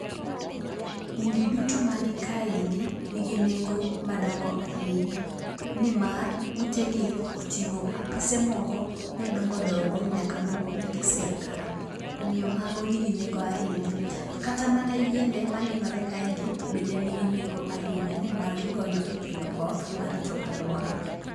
Udi duto ma ni kae ni gi nengo madongo ahinya nimar ute gi oting'o apise moko ma dongo dongo nyaka mek sirkal omiyo mago ni gi nengo ahinya ,omiyo kata yiende ma nenore kae ni gi nengo ahinya ni mar gi konyo e kelo koth ma rito aluora